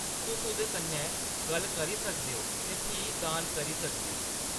तुस ओह्‌‌‌दे कन्नै गल्ल करी सकदे ओ ते फ्ही दान करी सकदे ओ।